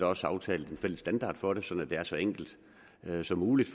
også aftalt en fælles standard for det sådan at det er så enkelt som muligt